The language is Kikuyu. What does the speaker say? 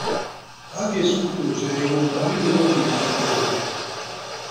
Wathiĩ cukuru ũcereirwo mwarimũ no nginya akũhũre.